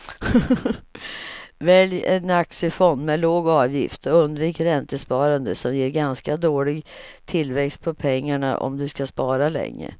Välj en aktiefond med låg avgift och undvik räntesparande som ger ganska dålig tillväxt på pengarna om du ska spara länge.